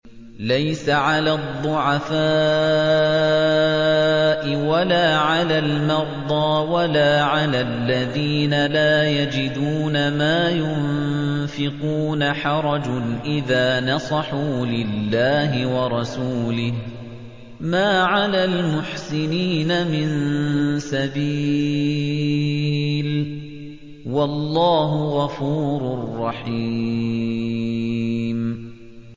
لَّيْسَ عَلَى الضُّعَفَاءِ وَلَا عَلَى الْمَرْضَىٰ وَلَا عَلَى الَّذِينَ لَا يَجِدُونَ مَا يُنفِقُونَ حَرَجٌ إِذَا نَصَحُوا لِلَّهِ وَرَسُولِهِ ۚ مَا عَلَى الْمُحْسِنِينَ مِن سَبِيلٍ ۚ وَاللَّهُ غَفُورٌ رَّحِيمٌ